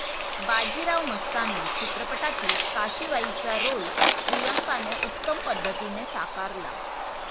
बाजीराव मस्तानी चित्रपटातील काशी बाईंचा रोल प्रियांकाने उत्तम पद्धतीने साकारला.